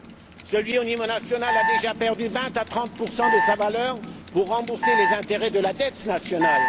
Un euro au niveau national a déjà perdu 20 ou 30 de sa valeur pour rembourser les intérêts de la dette nationale.